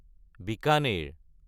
Bikaner